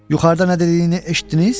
Yuxarıda nə dediyini eşitdiniz?